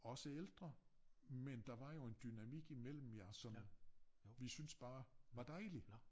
Også ældre med der var jo en dynamik i mellem jer som vi synes bare var dejlig